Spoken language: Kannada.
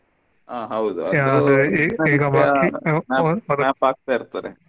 ಆಹ್ ಹೌದು ಅದು ಹಾಕ್ತಾ ಇರ್ತಾರೆ.